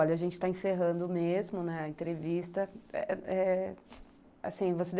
Olha, a gente está encerrando mesmo, né, a entrevista, eh, eh, assim, você